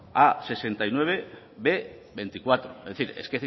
a hirurogeita bederatzi b hogeita lau es decir